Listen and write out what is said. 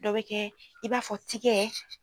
Dɔ bɛ kɛ i b'a fɔ tigɛ.